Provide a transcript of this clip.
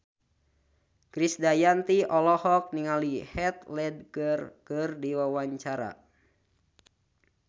Krisdayanti olohok ningali Heath Ledger keur diwawancara